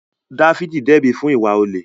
Dáfídì dẹ́bi fún ìwà olè